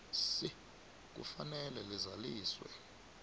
c kufanele lizaliswe